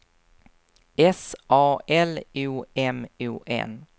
S A L O M O N